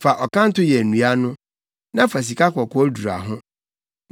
Fa ɔkanto yɛ nnua no, na fa sikakɔkɔɔ dura ho.